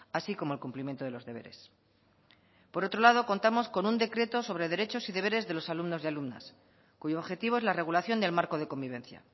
así como el cumplimiento de los deberes por otro lado contamos con un decreto sobre derechos y deberes de los alumnos y alumnas cuyo objetivo es la regulación del marco de convivencia